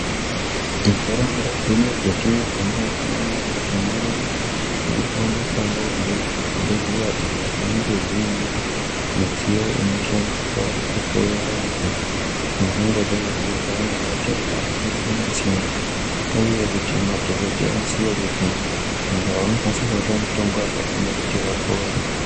Munharaunda dzedu dzino dzatinogara tinoona kuti munoowanikwawo zvibhehleya izvo zvinenge zviine midziyo inoshandiswa kuhloya vanhu vangangodai vechirwara ngematenda akasiyanasiyana uye kuti madhokodheya aziye kuti munhu unofanirwe kupuwa mutombo wakadini kuti apore.